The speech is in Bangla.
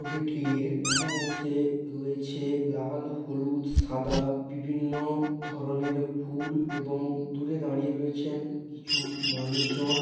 ছবিটির উম্মুখ অংশে রয়েছে লাল হলুদ সাদা বিভিন্ন ধরনের ফুল এবং দূরে দাঁড়িয়ে রয়েছেন কিছু মানুষজন।